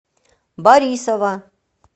борисова